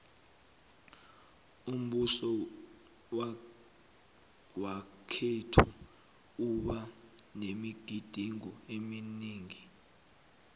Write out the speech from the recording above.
umbuso wakhethu uba nemigidingo eminingi